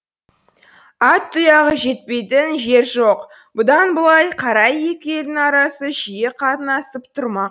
ат тұяғы жетпейтін жер жоқ бұдан былай қарай екі елдің арасы жиі қатынасып тұрмақ